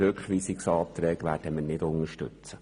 Rückweisungsanträge werden wir nicht unterstützen.